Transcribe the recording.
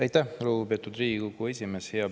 Aitäh, lugupeetud Riigikogu esimees!